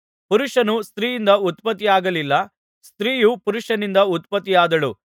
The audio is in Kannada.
ಪುರುಷನು ಸ್ತ್ರೀಯಿಂದ ಉತ್ಪತ್ತಿಯಾಗಲಿಲ್ಲ ಸ್ತ್ರೀಯು ಪುರುಷನಿಂದ ಉತ್ಪತ್ತಿಯಾದಳು